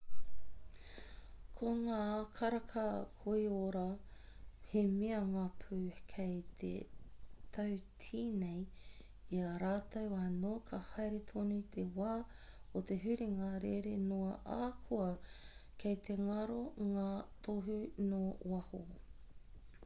ko ngā karaka koiora he mea ngapu kei te tautīnei i a rātou anō ka haere tonu te wā o te huringa rere noa ahakoa kei te ngaro ngā tohu nō waho